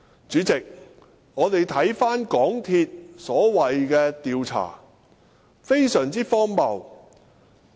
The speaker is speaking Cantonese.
主席，港鐵公司所謂的調查是非常荒謬的。